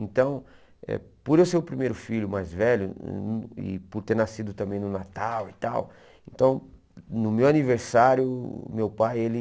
Então, por eu ser o primeiro filho mais velho e por ter nascido também no Natal e tal, então, no meu aniversário, meu pai, ele...